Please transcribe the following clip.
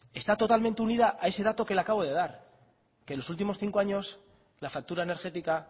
está totalmente unida a ese dato que le acabo de dar que en los últimos cinco años la factura energética